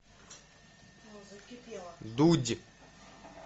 дудь